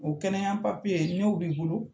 O kɛnɛya n'o b'i bolo.